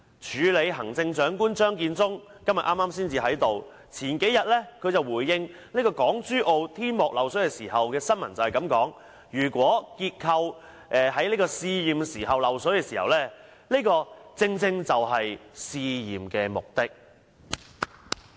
署理行政長官張建宗剛才在席；據新聞報道，他數天前回應港珠澳大橋香港口岸旅檢大樓的天幕漏水問題時說："如果結構在試驗時漏水，這正正是試驗的目的。